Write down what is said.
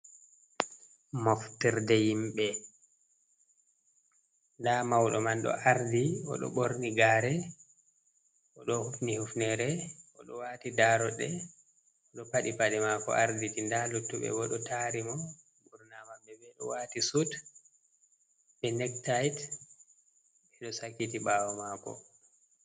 Moftorde himɓe nda mauɗo man ɗo ardi oɗo ɓorni gare oɗo hufni hufnere o ɗo wati daroɗe o ɗo paɗi paɗe mako arditi nɗa luttuɓe bo ɗo tari mo ɓurnama be be o wati sut be nektait ɓe ɗo sakiti ɓawo mako.